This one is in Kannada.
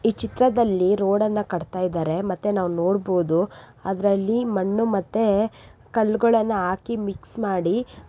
ಈ ಚಿತ್ರದಲ್ಲಿ ರೊಡ ನ್ನ ಕಟ್ಟತಾ ಇದ್ದಾರೆ ಮತ್ತೆ ನಾವು ನೋಡಬಹುದು ಅದರಲ್ಲಿ ಮಣ್ಣು ಮತ್ತೆ ಕಲ್ಲುಗಳನ್ನು ಹಾಕಿ ಮಿಕ್ಸ್ ಮಾಡಿ --